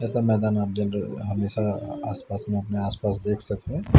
ऐसा मैदान आप जेनरल हमेशा आसपास में अपने आसपास देख सकते हैं।